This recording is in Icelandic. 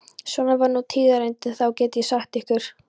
Svona var nú tíðarandinn þá, get ég sagt ykkur.